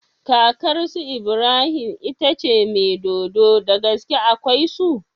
Kakar su Ibrahim tace mai dodo dagaske akwai su